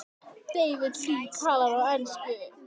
David Lee talar á ensku.